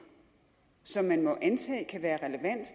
som man må antage kan være relevante